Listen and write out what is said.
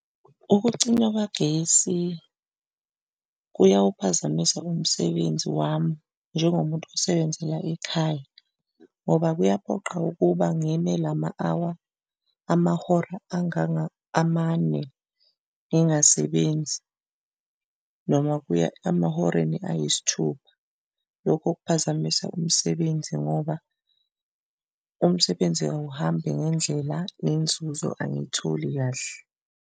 Ukucinywa kwagesi kuyawuphazamisa umsebenzi wami njengomuntu osebenzela ekhaya ngoba kuyaphoqa ukuba ngime lama-awa, amahora amane ngingasebenzi noma kuya emahoreni ayisithupha, lokho kuphazamisa umsebenzi ngoba umsebenzi awuhambi ngendlela nenzuzo angiyitholi kahle.